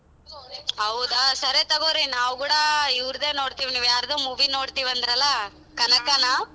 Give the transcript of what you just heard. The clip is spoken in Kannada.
ಹೌದಾ ಸರಿ ತಗೋರಿ ನಾವು ಕೂಡ ಇವರ್ದೆ ನೋಡ್ತೀವಿ ನೀವ್ ಯಾರ್ದೋ movie ನೋಡ್ತೀವಿ ಅಂದ್ರಲ್ಲ ಕನಕನಾ?